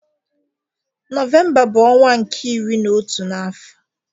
Novemba bu onwa nke iri na otu na afo